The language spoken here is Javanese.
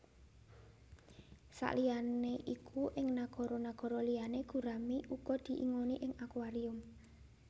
Saliyané iku ing nagara nagara liyané gurami uga diingoni ing akuarium